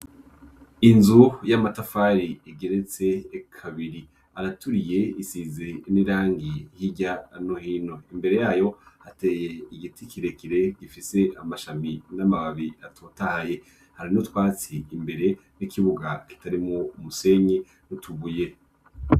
inzu y'amatafari igeretse kabiri araturiye isizi n'irangi hirya no hino imbere yayo ateye igiti kirekire gifise amashami n'amababi atotahaye hari nutwatsi imbere n'ikibuga itari mu musenyi n'utubuye